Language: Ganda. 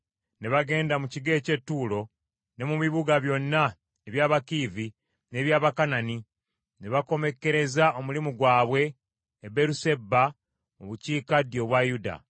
Ne bagenda ku kigo eky’e Ttuulo ne mu bibuga byonna eby’Abakiivi n’eby’Abakanani, ne bakomekkereza omulimu gwabwe e Beeruseba mu bukiikaddyo obwa Yuda.